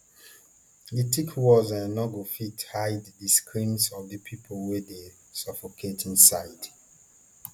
di thick walls um no go fit hide di screams of di pipo wey dey suffocate inside